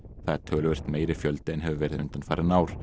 það er töluvert meiri fjöldi en hefur verið undanfarin ár